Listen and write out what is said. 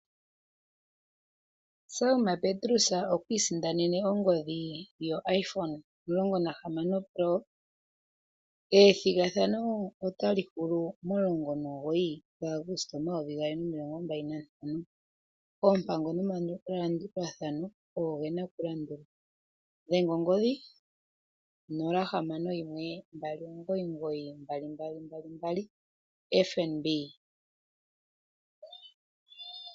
Selma Petrus okwii sindanene ongodhi yo Iphone 16 pro. Ethigathano ota li hulu mo19 gaAguste 2025. Oompango nomalandulathano ogo gena okulandulwa, dhenga ongodhi 0612992222 FNB.